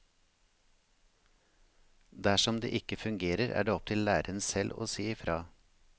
Dersom det ikke fungerer, er det opp til læreren selv å si ifra.